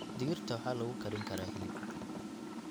Digirta waxaa lagu karin karaa hilib.